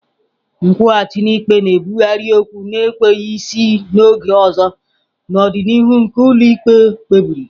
Nkwụghachi n'ikpe na-ebugharị okwu na-enweghị isi na oge ọzọ n'ọdịnihu nke ụlọ ikpe kpebiri.